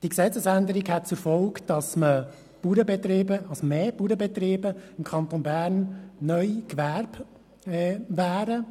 Die Gesetzesänderung hätte zur Folge, dass im Kanton Bern mehr Bauernbetriebe neu als Gewerbe gälten.